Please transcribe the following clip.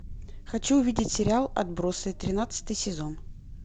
хочу увидеть сериал отбросы тринадцатый сезон